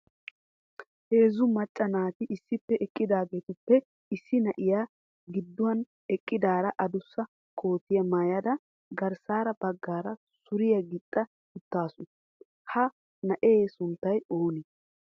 Heezzu macca naati issippe eqqidaagetuppe issi na'iyaa gidduwan eqqidaara addussa kootiya maayada garssa baggaara suriyaa gixxa uttaasu, ha na'ee sunttay oonee?